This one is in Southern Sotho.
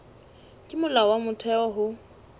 ke molao wa motheo ho